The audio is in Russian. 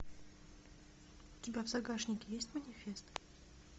у тебя в загашнике есть манифест